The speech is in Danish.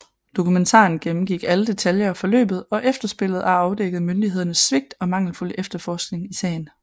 Dokumentaren gennemgik alle detaljer af forløbet og efterspillet og afdækkede myndighedernes svigt og mangelfulde efterforskning i sagen